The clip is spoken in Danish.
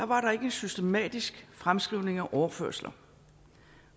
var en systematisk fremskrivning af overførsler